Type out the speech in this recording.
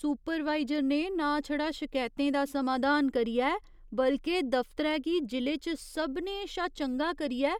supervisor ने ना छड़ा शकैतें दा समाधान करियै बल्के दफतरै गी जिले च सभनें शा चंगा करियै